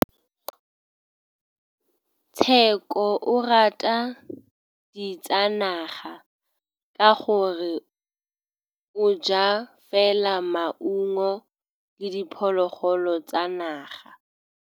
Tshekô o rata ditsanaga ka gore o ja fela maungo le diphologolo tsa naga.